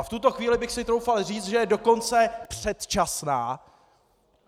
A v tuto chvíli bych si troufal říct, že je dokonce předčasná!